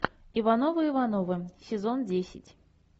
ивановы ивановы сезон десять